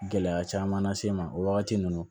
Gɛlɛya caman lase n ma o wagati ninnu na